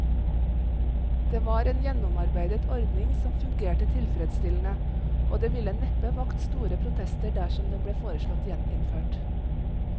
Det var en gjennomarbeidet ordning som fungerte tilfredsstillende, og det ville neppe vakt store protester dersom den ble foreslått gjeninnført.